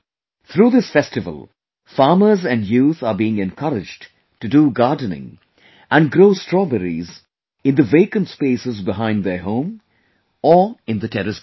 Through this festival, farmers and youth are being encouraged to do gardening and grow strawberries in the vacant spaces behind their home, or in the Terrace Garden